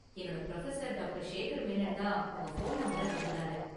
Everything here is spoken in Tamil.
என்னோட​ புரொஃபசர் டாக்டர்.ஷேகர் மேனன் தான் உங்க​ ஃபோன் நம்பர கொடுத்தாரு.